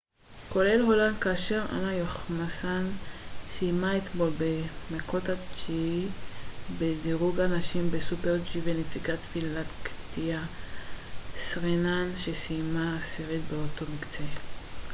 כולל הולנד כאשר אנה יוחמסן סיימה אתמול במקות התשיעי בדירוג הנשים בסופר־ג'י ונציגת פינלנד קטיה סרינן שסיימה עשירית באותו מקצה